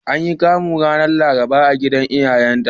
An yi Kamu ranar Laraba a gidan iyayenta.